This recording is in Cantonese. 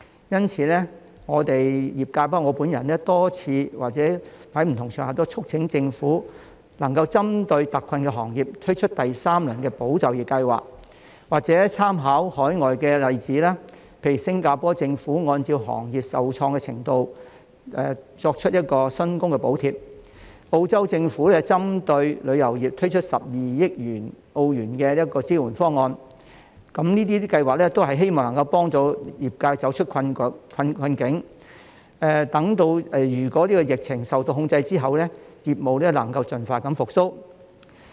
因此，我們業界包括我本人已多次在不同場合促請政府針對特困的行業，推出第三輪"保就業"計劃，或參考海外的例子，例如新加坡政府按照行業受創的程度作出薪金補貼、澳洲政府針對旅遊業推出12億澳元的支援方案，這些計劃均希望能夠幫助業界走出困境，待疫情受控制後業務能夠盡快復蘇。